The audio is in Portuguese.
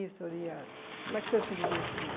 E o senhor ia... Como é que o senhor se divertia?